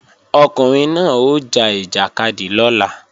Ọkùnrin náà ó ja ìjàkadì lọ́la